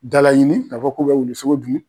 Dala ɲini k'a fɔ k'u bɛ wuli sogo dun